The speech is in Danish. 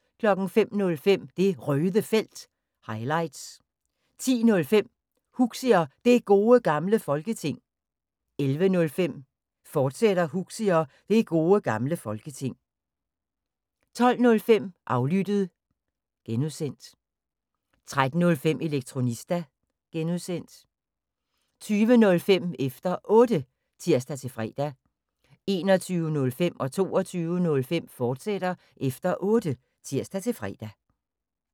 05:05: Det Røde Felt – highlights 10:05: Huxi og Det Gode Gamle Folketing 11:05: Huxi og Det Gode Gamle Folketing, fortsat 12:05: Aflyttet (G) 13:05: Elektronista (G) 20:05: Efter Otte (tir-fre) 21:05: Efter Otte, fortsat (tir-fre) 22:05: Efter Otte, fortsat (tir-fre)